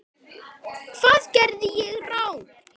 Hvað gerði ég rangt?